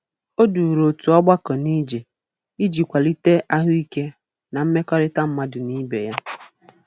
O duru otu ọgbakọ n'ije iji kwalite ahụike na mmekọrịta mmadụ na ibe ya.